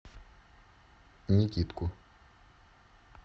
никитку